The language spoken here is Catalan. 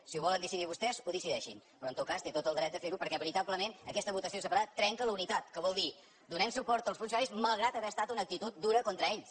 si ho volen decidir vostès ho decideixin però en tot cas té tot el dret de fer ho perquè veritablement aquesta votació separada trenca la unitat que vol dir donem suport als funcionaris malgrat haver estat una actitud dura contra ells